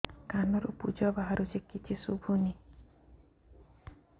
କାନରୁ ପୂଜ ବାହାରୁଛି କିଛି ଶୁଭୁନି